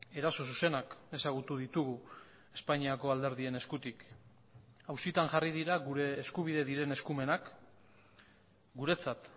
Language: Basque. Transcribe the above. eraso zuzenak ezagutu ditugu espainiako alderdien eskutik auzitan jarri dira gure eskubide diren eskumenak guretzat